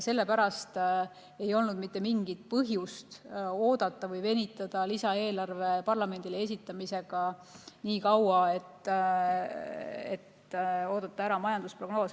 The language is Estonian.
Sellepärast ei olnud mitte mingit põhjust venitada lisaeelarve parlamendile esitamisega nii kaua, et oodata ära majandusprognoos.